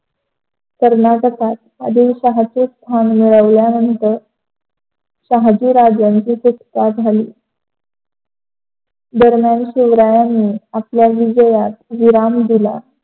कर्नाटकात आदिलशाहाचे स्थान मिळविल्यानंतर शहजीराजाची सुटका झाली. दम्यान शिवरायाने आपल्या विजयात स्थान दिले,